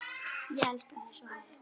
Ég elska þig svo heitt.